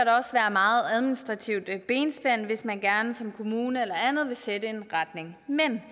meget administrativt benspænd hvis man gerne som kommune eller andet vil sætte en retning men